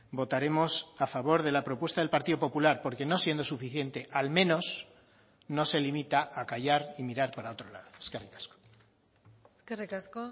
votaremos a favor de la propuesta del partido popular porque no siendo suficiente al menos no se limita a callar y mirar para otro lado eskerrik asko eskerrik asko